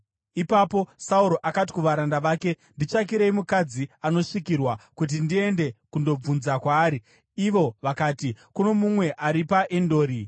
Ipapo Sauro akati kuvaranda vake, “Nditsvakirei mukadzi anosvikirwa, kuti ndiende kundobvunza kwaari.” Ivo vakati, “Kuno mumwe ari paEndori.”